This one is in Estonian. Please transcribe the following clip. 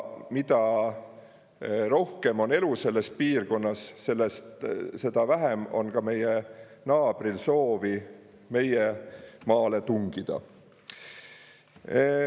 Mida rohkem on elu selles piirkonnas, seda vähem on ka meie naabril soovi meie maale tungida.